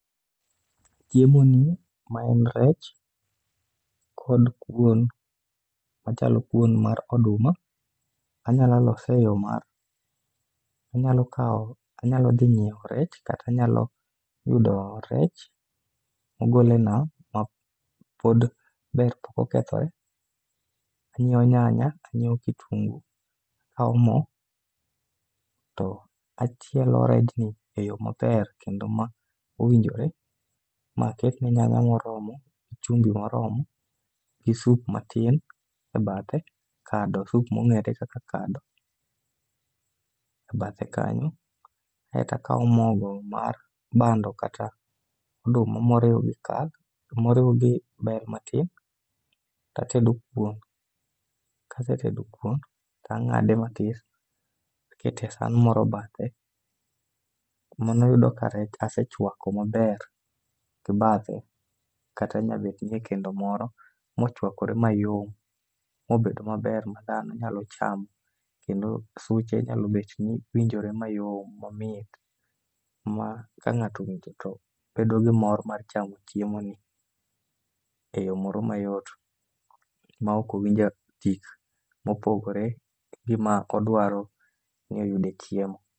chiemoni maen rech kod kuon, ochalo kuon mar oduma, anyalo lose eyoo mar, anyalo kao , anyalo dhi nyio rech kata anayalo yudo rech mogol enam mapod ber pok okethore, anyio nyanya to anyieo kitungu, akao moo to achielo rechni eyoo maber kendo eyoo mowinjore, maaketne nyanya moromo, gichumbi moromo gi soup matin e bathe , kado soup mongere kaka kado ebathe kanyo, eka akao mogo mar bando kata oduma maoriw gi kal maoriw gi bel matin, tatedo kuon. kasetedo kuon tangade matis takete e san moro bathe mano yudo ka rech asechwako maber e bathe kata nyabetni e kendo moro mochwakore mayom mobedo maber madhano nyalo chamo kendo suche nyalo bedo ni winjore mayom momit ma kangato owinjo to bedo gi mor mar chamo chiemoni e yoo moro mayot maok owinjo tik mopogore gi ma odwaro ni oyude chiemo